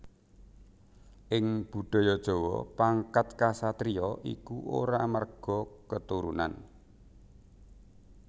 Ing Budaya Jawa pangkat ksatriya iku ora amarga keturunan